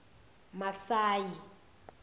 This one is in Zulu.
masayi